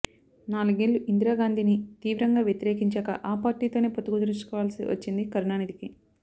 నాలుగేళ్లు ఇందిరాగాంధీని తీవ్రంగా వ్యతిరేకించాక ఆ పార్టీతోనే పొత్తు కుదుర్చుకోవాల్సి వచ్చింది కరుణానిధికి